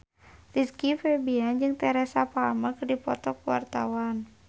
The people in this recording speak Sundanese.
Rizky Febian jeung Teresa Palmer keur dipoto ku wartawan